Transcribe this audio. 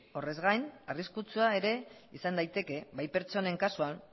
horrez gain arriskutsua ere izan daiteke bai pertsonen kasuan